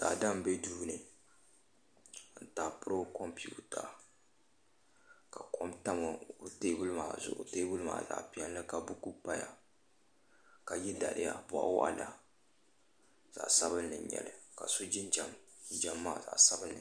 Daadam n bɛ duu n taapiri o kompiuta ka kompiuta ŋo tam teebuli zuɣu teebuli maa zaɣ piɛlli ka buku paya ka yɛ daliya boɣa waɣala zaɣ sabinli n nyɛli ka so jinjɛm jinjɛm maa zaɣ sabinli n nyɛli